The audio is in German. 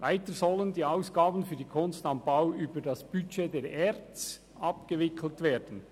Weiter sollen die Ausgaben für die «Kunst am Bau» über das Budget der ERZ abgewickelt werden.